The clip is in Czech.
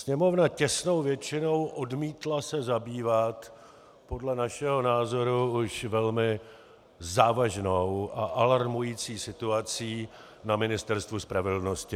Sněmovna těsnou většinou odmítla se zabývat podle našeho názoru už velmi závažnou a alarmující situací na Ministerstvu spravedlnosti.